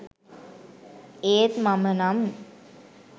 ඒත් මමනම්